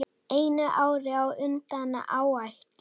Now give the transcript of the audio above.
Einu ári á undan áætlun.